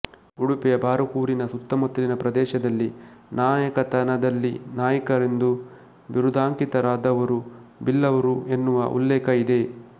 ಉಡುಪಿಯ ಬಾರಕೂರಿನ ಸುತ್ತಮುತ್ತಲಿನ ಪ್ರದೇಶದಲ್ಲಿ ನಾಯಕತನದಲ್ಲಿ ನಾಯ್ಗರೆಂದು ಬಿರುದಾಂಕಿತರಾದವರು ಬಿಲ್ಲವರು ಎನ್ನುವ ಉಲ್ಲೇಖ ಇದೆ